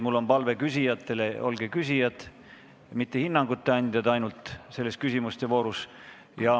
Seega on mul küsijatele palve: olge küsimuste voorus küsijad, mitte ainult hinnangute andjad.